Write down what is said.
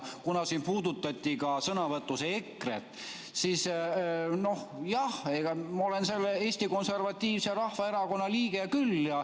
Kuna siin puudutati ka sõnavõtus EKRE‑t, siis jah, ma olen Eesti Konservatiivse Rahvaerakonna liige küll.